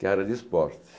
que era de esportes.